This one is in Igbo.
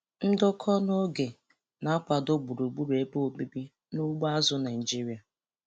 Ndokọ n'oge na-akwado gburugburu ebe obibi n' ugbo azụ̀ Naịjiria.